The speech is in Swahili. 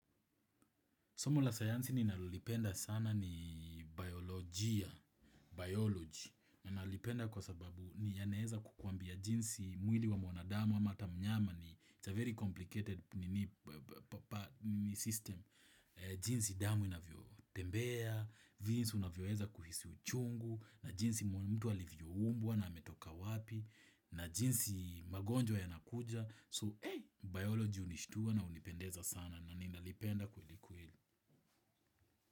Somo la sayansi ninalolipenda sana ni biolojia, biology. Ninalipenda kwa sababu ni yanaeza kukuambia jinsi mwili wa mwanadamu ama hata mnyama ni it's a very complicated system. Jinsi damu inavyotembea, jinsi unavyoeza kuhisi uchungu, na jinsi mtu alivyoumbwa na ametoka wapi, na jinsi magonjwa yanakuja. So, biology hunishtua na hunipendeza sana na ninalipenda kweli kweli.